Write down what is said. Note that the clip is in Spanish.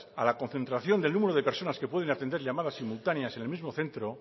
a la concentración del número de personas que pueden atender llamadas simultaneas en el mismo centro